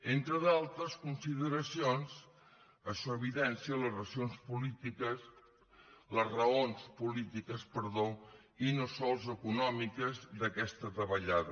entre d’altres consideracions això evidencia les raons polítiques i no sols econòmiques d’aquesta davallada